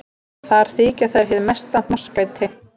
Þar þykja þær hið mesta hnossgæti.